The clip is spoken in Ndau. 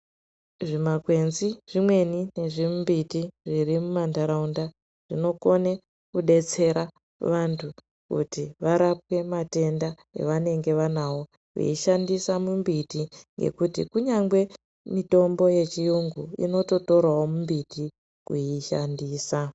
Zvimakwenzi zvimweni nemimbiti imweni irimuntaraunda inokone kubetsera vantu varapwe matenda avanenge vanawo veishandisa mimbiti yekuti kunyangwe mitombo yechirungu inototorawo mito kuyishandisa .